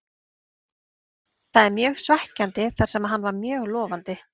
Það er mjög svekkjandi þar sem hann var mjög lofandi.